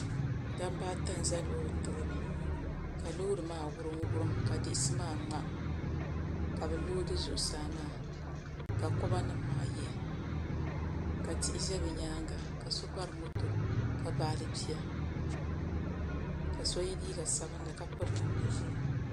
Dabba ata n ʒɛ loori tooni ka loori maa wurim wurim ka diɣisi maa ŋma ka bi loodi zuɣusaa maa ka koba nim maa yihi ka tihi ʒɛ bi nyaanga ka so bari moto ka baɣali bia ka so yɛ liiga sabinli ka piri namda ʒiɛ